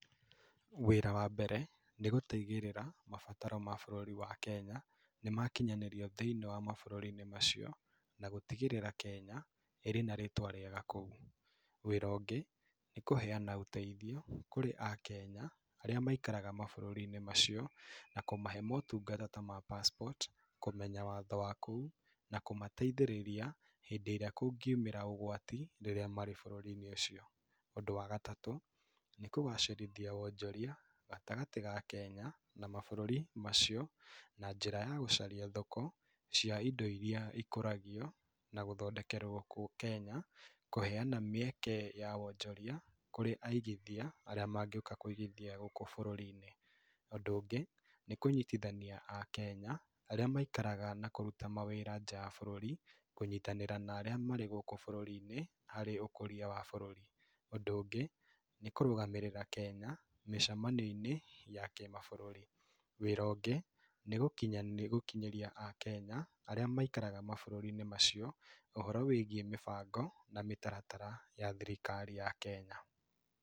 Wĩra wa mbere nĩ gũtigĩrĩra mabataro ma bũrũri wa Kenya nĩ makinyanĩrio thĩiniĩ wa mabũrũri-inĩ macio na gũtigĩrĩra Kenya ĩrĩ na rĩtwa rĩega kũu. Wĩra ũngĩ nĩ kũheana ũteithio kũrĩ a kenya arĩa maikaraga mabũrũri-inĩ macio na kũmahe motungata ta ma passport na kũmenya watho wa kũu, na kũmateithĩrĩria hĩndĩ ĩrĩa kũngiumĩra ũgwati rĩrĩa marĩ bũrũri-inĩ ũcio. Ũndũ wa gatatũ nĩ kũgacĩrithia wonjoria gatagatĩ ga Kenya na mabũrũri macio, na njĩra ya gũcaria thoko cia indo irĩa ikũragio na gũthondekerwo Kenya. Kũheana mĩeke ya wonjoria kũrĩ aigithia arĩa mangĩũka kũigithia gũkũ bũrũri-inĩ. Ũndũ ũngĩ nĩ kũnyitithania a kenya arĩa marutaga wĩra na maikaraga nja wa bũrũri, kũnyitanĩra na arĩa marĩ harĩ ũkũria wa bũrũri. Ũndũ ũngĩ nĩ kũrũgamĩrĩra Kenya mĩcemanio-inĩ ya kĩ mabũrũri. Wĩra ũngĩ nĩ gũkinyĩrĩa akenya arĩa maikaraga mabũrũri-inĩ macio ũhoro wĩgiĩ mĩbango na mĩtaratara ya thirikari ya Kenya.